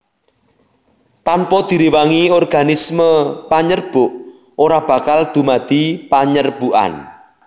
Tanpa direwangi organisme panyerbuk ora bakal dumadi panyerbukan